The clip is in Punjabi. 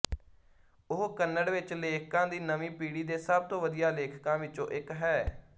ਉਹ ਕੰਨੜ ਵਿੱਚ ਲੇਖਕਾਂ ਦੀ ਨਵੀਂ ਪੀੜ੍ਹੀ ਦੇ ਸਭ ਤੋਂ ਵਧੀਆ ਲੇਖਕਾਂ ਵਿਚੋਂ ਇੱਕ ਹੈ